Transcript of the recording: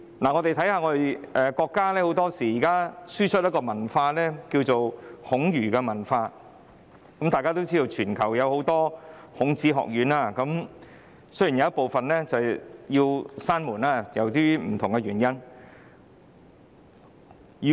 中國現時經常輸出孔儒文化，眾所周知，全球有很多孔子學院，即使有部分由於不同原因已關閉。